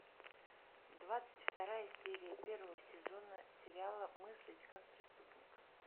двадцать вторая серия первого сезона сериала мыслить как преступник